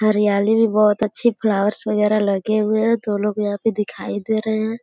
हरियाली भी बहुत अच्छी फ्लावर्स वगैरह लगे हुए हैं तो लोग यहां पे दिखाई दे रहे हैं।